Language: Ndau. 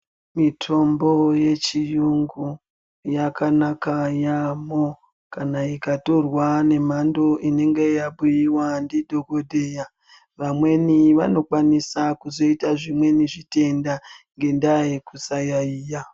Mitombo yechi yungu yaka naka yambo kana ika torwa nemhando inenge yabuyiwa ndi dhokoteya vamweni vano kwanisa kuzoita zvimweni zvitenda nge ndaa yekusa yayiya .